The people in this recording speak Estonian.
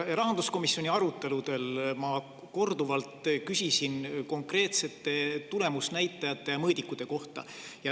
Rahanduskomisjoni aruteludel ma küsisin korduvalt konkreetsete tulemusnäitajate, mõõdikute kohta.